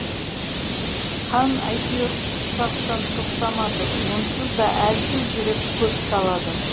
қан әйтеуір құрсақтан тоқтамады онсыз да әлсіз жүрек көп талады